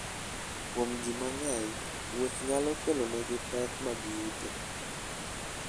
Kuom ji mang'eny, wuoth nyalo kelonegi pek mag yuto.